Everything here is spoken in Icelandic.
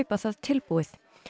það tilbúið